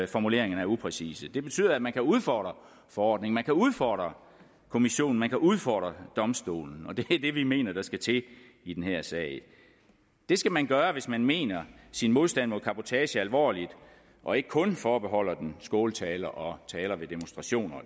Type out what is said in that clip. formuleringerne er upræcise det betyder at man kan udfordre forordningen at man kan udfordre kommissionen at man kan udfordre domstolen og det er det vi mener der skal til i den her sag det skal man gøre hvis man mener sin modstand mod cabotage alvorligt og ikke kun forbeholder den skåltaler og taler ved demonstrationer